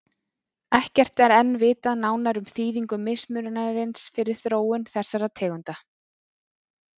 Ekkert er enn vitað nánar um þýðingu mismunarins fyrir þróun þessara tegunda.